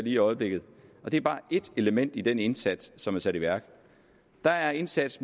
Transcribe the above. i øjeblikket og det er bare ét element i den indsats som er sat i værk der er indsats